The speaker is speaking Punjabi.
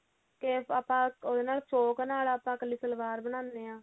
ਕਿ ਆਪਾਂ ਉਹਦੇ ਨਾਲ ਸ਼ੋਂਕ ਨਾਲ ਆਪਾਂ ਕੱਲੀ ਸਲਵਾਰ ਬਣਾਉਂਦੇ ਆਂ